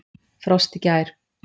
Frost í gær.